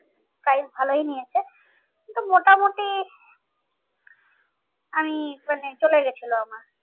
Price ভালোই নিয়েছে। কিন্তু মোটামুটি আমি মানে চলে গিয়েছিলো আমার